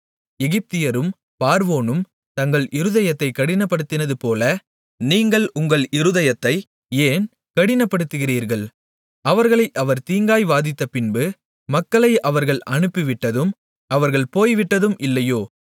எகிப்தியரும் பார்வோனும் தங்கள் இருதயத்தைக் கடினப்படுத்தினது போல நீங்கள் உங்கள் இருதயத்தை ஏன் கடினப்படுத்துகிறீர்கள் அவர்களை அவர் தீங்காய் வாதித்தபின்பு மக்களை அவர்கள் அனுப்பிவிட்டதும் அவர்கள் போய்விட்டதும் இல்லையோ